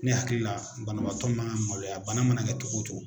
Ne hakilila banabagatɔ man kan ka maloya bana mana kɛ cogo